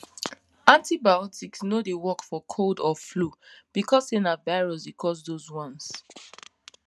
antibiotics no dey work for cold or flu because say na virus dey cause those ones